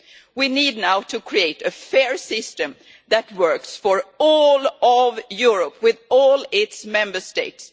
We now need to create a fair system that works for all of Europe, with all its Member States.